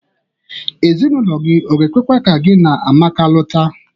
Ezinaụlọ gi ọ ga-ekwekwa ka gi na Amaka lụta?